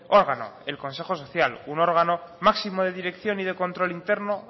órgano el consejo social un órgano máximo de dirección y de control interno